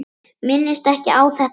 Minnist ekki á þetta framar.